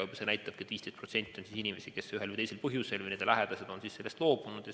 See näitabki, et 15% on selliseid inimesi, kes ise või kelle lähedased ühel või teisel põhjusel on sellest loobunud.